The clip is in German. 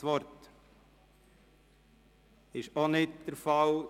– Das ist auch nicht der Fall.